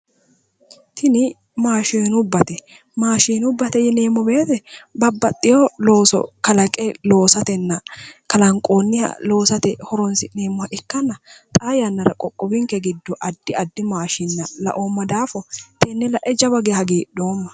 Tini maashinubbate, maashinubbate yineemmo woyiite babbaxewo looso kalaqe loosatenna kalnqoonniha loosate horonsi'neemmoha ikkanna xaa yannara qoqqowinke giddo addi addi maashinna laoomma daafo tenne lae jawa geya hagiidhoomma.